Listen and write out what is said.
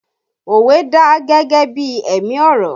Òwe dà gẹ́gẹ́ bí ẹ̀mí ọ̀rọ̀